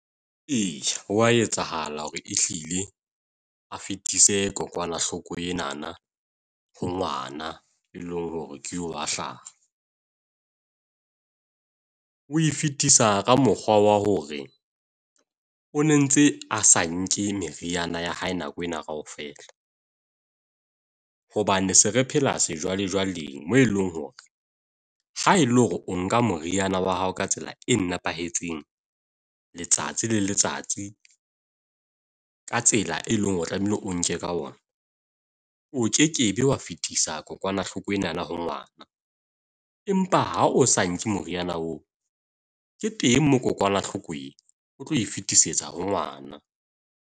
E, ho wa etsahala hore e hlile a fetise kokwanahloko enana ho ngwana, e leng hore ke wa hlaha. O e fetisa ka mokgwa wa hore o ne ntse a sa nke meriana ya hae nako ena kaofela. Hobane se re phela sejwalejwale mo eleng hore haele hore o nka moriana wa hao ka tsela e nepahetseng, letsatsi le letsatsi ka tsela e leng hore o tlamehile o nke ka ona, o kekebe wa fetisa kokwanahloko enana ho ngwana. Empa ha o sa nke moriana oo ke teng mo kokwanahloko e o tlo e fetisetsa ho ngwana.